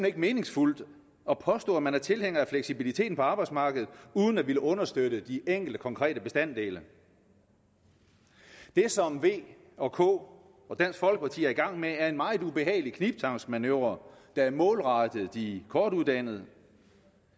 ikke meningsfuldt at påstå at man er tilhænger af fleksibiliteten på arbejdsmarkedet uden at ville understøtte de enkelte konkrete bestanddele det som v og k og dansk folkeparti er i gang med er en meget ubehagelig knibtangsmanøvre der er målrettet de kortuddannede